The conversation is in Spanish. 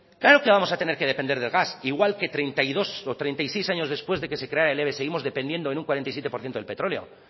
claro que vamos a tener que depender del gas igual que treinta y dos o treinta y seis años después de que se creara el eve seguimos dependiendo en un cuarenta y siete por ciento del petróleo